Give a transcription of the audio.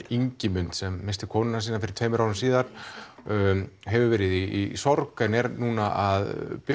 Ingimund sem missti konuna sína fyrir tveimur árum hefur verið í sorg en er nú að